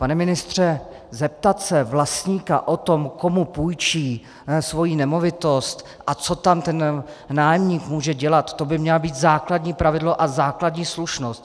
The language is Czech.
Pane ministře, zeptat se vlastníka na to, komu půjčí svoji nemovitost a co tam ten nájemník může dělat, to by mělo být základní pravidlo a základní slušnost.